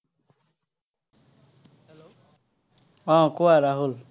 আহ কোৱা ৰাহুল।